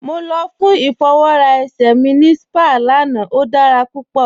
Mọ lọ fún ifọwọra èṣẹ̀ ní sípàá lána, o dára púpọ.